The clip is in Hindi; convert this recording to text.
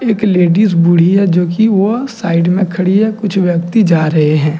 एक लेडीज बूढ़ी है जोकि वह साइड में खड़ी है। कुछ व्यक्ति जा रहे हैं ।